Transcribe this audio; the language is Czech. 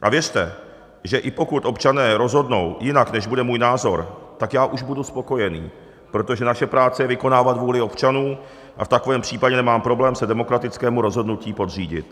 A věřte, že i pokud občané rozhodnou jinak, než bude můj názor, tak já už budu spokojený, protože naše práce je vykonávat vůli občanů a v takovém případě nemám problém se demokratickému rozhodnutí podřídit.